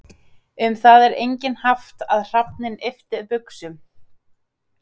Um það er einnig haft að hrafninn yppti buxum.